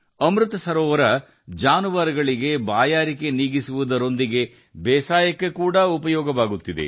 ಅಮೃತ ಸರೋವರಗಳನ್ನು ಪ್ರಾಣಿಗಳ ದಾಹ ನೀಗಿಸಲು ಹಾಗೂ ಬೇಸಾಯಕ್ಕೆ ಬಳಸಲಾಗುತ್ತಿದೆ